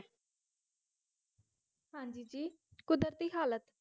ਹਾਂਜੀ ਜੀ ਕੁਦਰਤੀ ਹਾਲਤ